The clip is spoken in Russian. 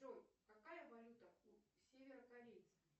джой какая валюта у северокорейцев